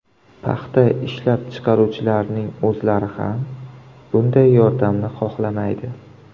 Paxta ishlab chiqaruvchilarning o‘zlari ham bunday yordamni xohlamaydi.